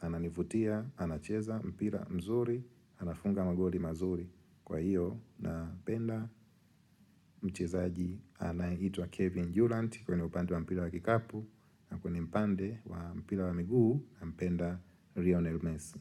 Ananivutia, anacheza mpira mzuri, anafunga magoli mazuri. Kwa hiyo, na mpenda mchezaji anayeitwa Kevin Dulant kwenye upande wa mpira wa kikapu na kwenye mpande wa mpira wa miguu na mpenda Rionel Messi.